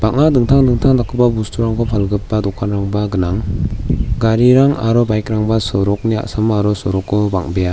bang·a dingtang dingtang dakgipa bosturangko palgipa dokanrangba gnang garirang aro baik rangba sorokni a·samo aro soroko bang·bea.